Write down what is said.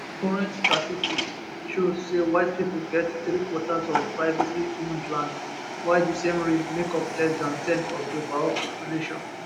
current statistics show say white pipo get three quarters of privatelyowned land while di same race make up less dan ten of di overall population